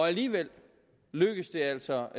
alligevel lykkedes det altså